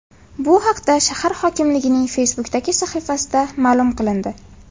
Bu haqda shahar hokimligining Facebook’dagi sahifasida ma’lum qilindi .